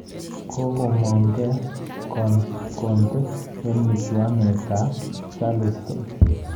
Kogomong'gei Konta eng michuanoit ab Charleston